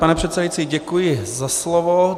Pane předsedající, děkuji za slovo.